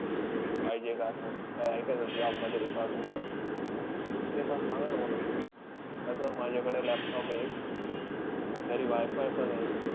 पाहिजे का असं? काई आहे का असं job मध्ये requirement त्याची? ते पण सांगा ना मला sir. तसं माझ्याकडे laptop हे एक. घरी WiFi पण आहे.